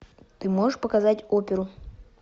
ты можешь показать оперу